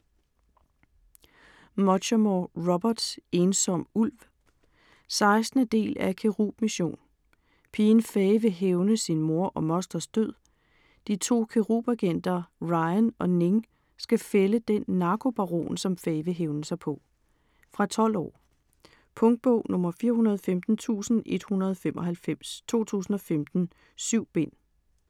Muchamore, Robert: Ensom ulv 16. del af Cherub Mission. Pigen Fay vil hævne sin mor og mosters død. De to Cherub-agenter Ryan og Ning skal fælde den narkobaron, som Fay vil hævne sig på. Fra 12 år. Punktbog 415195 2015. 7 bind.